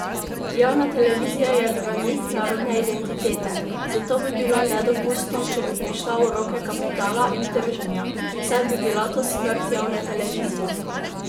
Javna televizija je branik narodne identitete, zato bi bilo nedopustno, če bi prišla v roke kapitala in trženja, saj bi bila to smrt javne televizije!